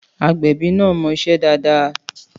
Àgbẹ̀bí náà mọ iṣẹ́ dáadáa.